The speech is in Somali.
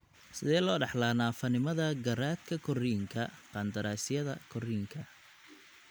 Sidee loo dhaxlaa naafanimada garaadka korriinka qandaraasyada korriinka?